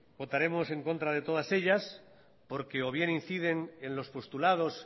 votaremos en contra de todas ellas porque o bien inciden en los postulados